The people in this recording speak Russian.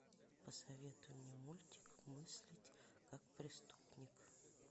посоветуй мне мультик мыслить как преступник